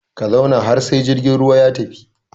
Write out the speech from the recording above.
Ka zauna har sai jirgin ruwa ya tafi!